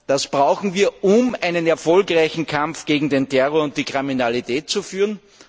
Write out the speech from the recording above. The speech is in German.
Das brauchen wir, um einen erfolgreichen Kampf gegen den Terror und die Kriminalität zu führen.